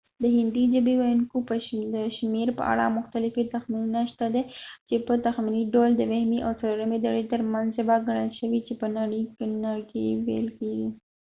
د هندی ژبی ویونکو د شمیر په اړه مختلفی تخمینونه شته دی چی په تخمینی ډول د دوهمی او څلورمی درجی تر منځ ژبه ګنل شوی چی په نړی کی ویل کیږی